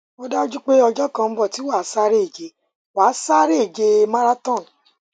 ó dájú pé ọjọ kan ń bọ tí wàá sáré ìje wàá sáré ìje marathon